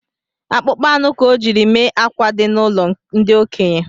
Akpụkpọ anụ ka ọ jiri mee akwa di n’ụlọ ndi okenye